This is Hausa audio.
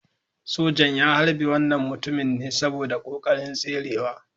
Sojan ya harbe wannan mutumin ne saboda kokarin tserewa.